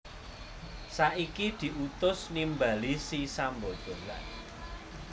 Saiki diutus nimbali si Sambada